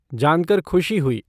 जानकर ख़ुशी हुई।